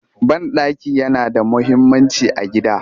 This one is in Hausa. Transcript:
Banɗaki yana da muhimmanci a gida